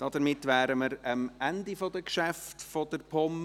Damit sind wir am Ende der Geschäfte der POM.